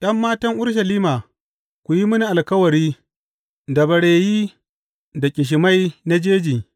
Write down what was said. ’Yan matan Urushalima, ku yi mini alkawari da bareyi da ƙishimai na jeji.